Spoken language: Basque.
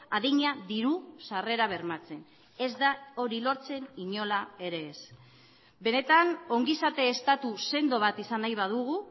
adina diru sarrera bermatzen ez da hori lortzen inola ere ez benetan ongizate estatu sendo bat izan nahi badugu